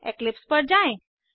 Eclipse पर जाएँ